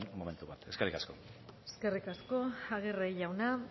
momentu batera eskerrik asko eskerrik asko aguirre jauna